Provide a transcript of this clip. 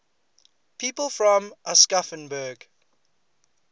people from aschaffenburg